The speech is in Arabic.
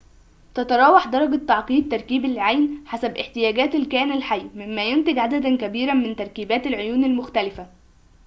تتراوح درجة تعقيد تركيب العين حسب احتياجات الكائن الحي مما ينتج عدداً كبيراً من تركيبات العيون المختلفة